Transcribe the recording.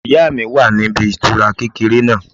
Ìyá mi wà níbi ìtura kékeré náà